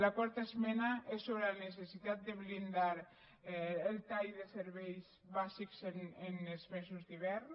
la quarta esmena és sobre la necessitat de blindar el tall de serveis bàsics en els mesos d’hivern